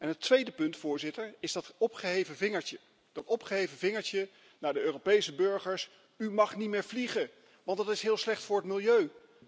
Het tweede punt, Voorzitter, is dat opgeheven vingertje, dat opgeheven vingertje naar de Europese burgers U mag niet meer vliegen want dat is heel slecht voor het milieu.